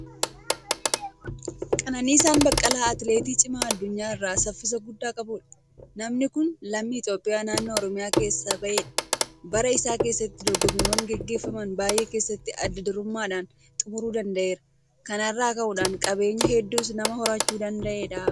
Qananiisaan Baqqalaa Atileetii Cimaa addunyaa irraa saffisa guddaa qabudha. Namni kun lammii Itoophiyaa naannoo Oromiyaa keessaa bahedha. Bara isaa keessatti dorgommiiwwan gaggeeffaman baay'ee keessatti adda durummaadhaan xumuruu danda'eera. Kana irraa ka'uudhaan qabeenya hedduus nama horachuu danda'edha.